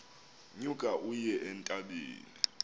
nyuka uye entabeni